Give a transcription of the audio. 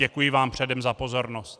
Děkuji vám předem za pozornost.